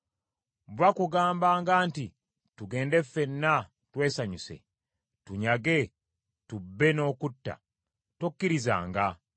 Bwe bakugambanga nti, “Tugende ffenna twesanyuse, tunyage, tubbe n’okutta; tokkirizanga;